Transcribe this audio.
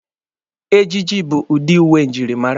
Ejiji bụ udi uwe njirimara.